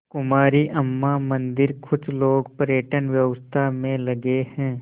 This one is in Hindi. कुमारी अम्मा मंदिरकुछ लोग पर्यटन व्यवसाय में लगे हैं